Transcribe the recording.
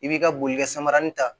I b'i ka bolikɛ samaranin ta